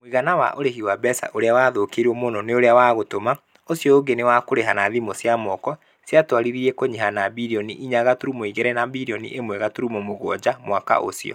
Mũigana wa ũrehi wa mbeca ũrĩa wathũkĩiruo mũno nĩ ũria wa gũtũma. Ucio ũngi ni wa kũrĩha na thimũ cia moko. Ciatuarithirie kunyiha na birioni inya gaturumo igĩrĩ na birioni ĩmwe gaturumo mũgwanja mwaka ũcio.